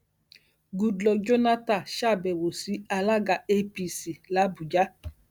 goodluck jonathan ṣàbẹwò sí alága apc làbújá